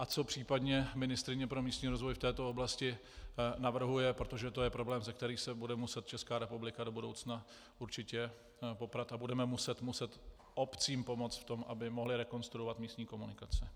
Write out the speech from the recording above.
A co případně ministryně pro místní rozvoj v této oblasti navrhuje, protože to je problém, se kterým se bude muset Česká republika do budoucna určitě poprat, a budeme muset obcím pomoct v tom, aby mohly rekonstruovat místní komunikace.